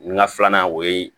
N ka filanan o ye